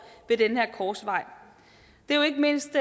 ved den her korsvej det er jo ikke mindst